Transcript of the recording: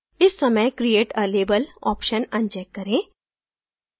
इस समय create a label option uncheck करें